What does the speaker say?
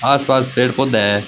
आस पास पेड़ पौधा है।